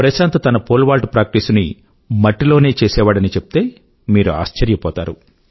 ప్రశాంత్ తన pole vault ప్రాక్టీసుని మట్టిలోనే చేసేవాడని చెప్తే మీరు ఆశ్చర్యపోతారు